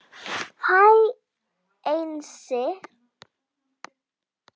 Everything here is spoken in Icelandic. Hæ Einsi